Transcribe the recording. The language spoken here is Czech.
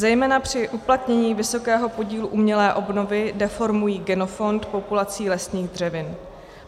Zejména při uplatnění vysokého podílu umělé obnovy deformují genofond populací lesních dřevin.